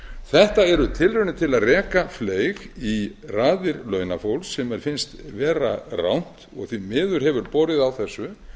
þetta eru tilraunir til að reka fleyg í raðir launafólks sem mér finnst vera rangt og því miður hefur borið á þessu